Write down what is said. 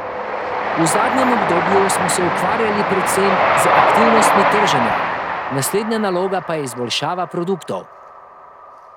V zadnjem obdobju smo se ukvarjali predvsem z aktivnostmi trženja, naslednja naloga pa je izboljšava produktov.